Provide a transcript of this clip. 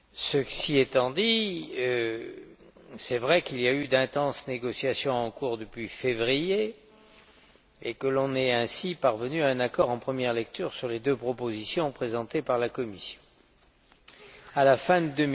Cela étant, il est vrai qu'il y a eu d'intenses négociations depuis février et que l'on est ainsi parvenu à un accord en première lecture sur les deux propositions présentées par la Commission à la fin de